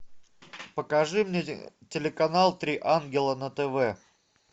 покажи мне телеканал три ангела на тв